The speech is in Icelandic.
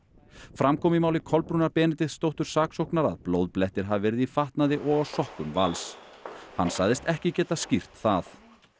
fram kom í máli Kolbrúnar Benediktsdóttur saksóknara að blóðblettir hafi verið í fatnaði og á sokkum Vals hann sagðist ekki geta skýrt það